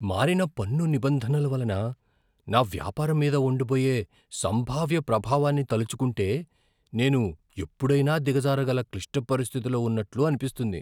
మారిన పన్ను నిబంధనల వలన నా వ్యాపారం మీద ఉండబోయే సంభావ్య ప్రభావాన్ని తలచుకుంటే నేను ఎప్పుడైనా దిగజారగల క్లిష్ట పరిస్థితిలో ఉన్నట్లు అనిపిస్తుంది.